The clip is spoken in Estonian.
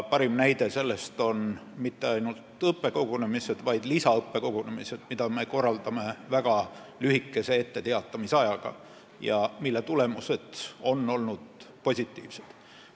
Parim näide selle kohta on mitte ainult õppekogunemised, vaid ka lisaõppekogunemised, mida me korraldame väga lühikese etteteatamisajaga ja mille tulemused on olnud positiivsed.